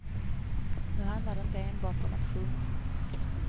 Nu handlar det inte enbart om att sjunga.